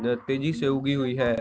यह तेजी से उगी हुए है।